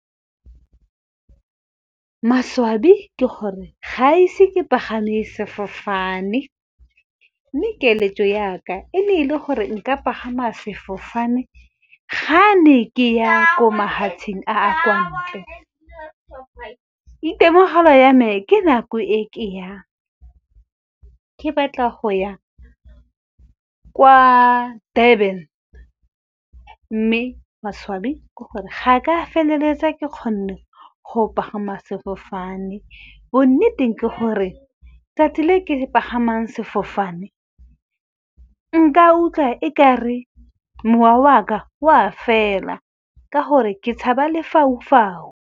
Maswabi ke gore ga ise ke pagame sefofane, mme keletso ya ka e ne e le gore nka pagama sefofane ga ne ke ya ko mafatsheng a kwa ntle. Itemogela ya me ke nako ke batla go ya kwa Durban, mme maswabi ke gore ga ka feleletsa ke kgonne go pagama sefofane. Bonneteng ke gore tsatsi le ke pagamang sefofane, nka utlwa e kare mowa waka wa fela ka gore ke tshaba lefaufau.